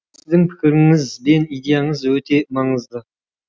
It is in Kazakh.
сіздің пікіріңіз бен идеяңыз өте маңызды